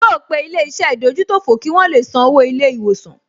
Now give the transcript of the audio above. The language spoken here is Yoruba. Yóò pe ilé-iṣẹ́ ìdójútòfò kí wọn le san owó ilé-ìwòsàn